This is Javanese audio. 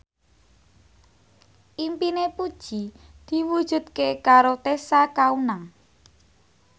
impine Puji diwujudke karo Tessa Kaunang